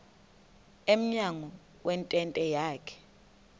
emnyango wentente yakhe